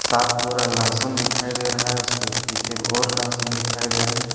सात बोरा लहसुन दिखाई दे रहा हैं उसके पीछे और लहसुन दिखाई दे रहे हैं।